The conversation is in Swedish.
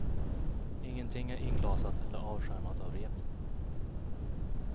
Ingenting är inglasat eller avskärmat av rep.